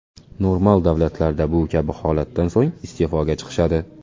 Normal davlatlarda bu kabi holatdan so‘ng iste’foga chiqishadi.